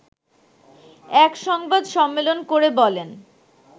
এক সংবাদ সম্মেলন করে বলেন